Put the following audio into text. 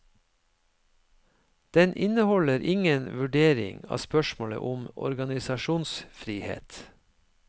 Den inneholder ingen vurdering av spørsmålet om organisasjonsfrihet.